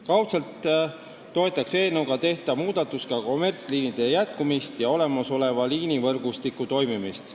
Kaudselt toetaks eelnõuga tehtav muudatus ka kommertsliinide jätkamist ja olemasoleva liinivõrgustiku toimimist.